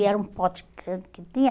E era um pote que que tinha.